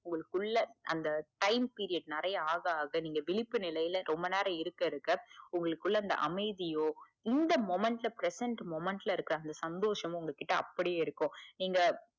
உங்களுக்குள்ள அந்த time period நிறைய ஆக ஆக நீங்க விழிப்பு நிலைல ரொம்ப நேரம் இருக்க இருக்க உங்களுக்குள்ள அந்த அமைதியோ இந்த moment ல present moment ல இருக்க அந்த சந்தோஷமும் உங்ககிட்ட அப்படியே இருக்கும். நீங்க